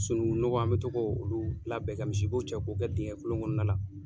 Sununŋu nɔgɔ an bɛ to ko olu labɛn ka misibo cɛ k'o kɛ dingɛ kolon kɔnɔna la.